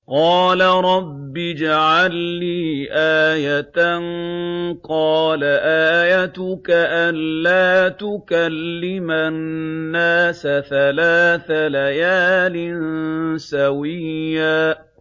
قَالَ رَبِّ اجْعَل لِّي آيَةً ۚ قَالَ آيَتُكَ أَلَّا تُكَلِّمَ النَّاسَ ثَلَاثَ لَيَالٍ سَوِيًّا